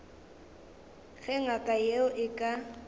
ge ngaka yeo e ka